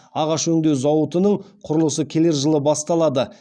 ағаш өңдеу зауытының құрылысы келер жылы басталады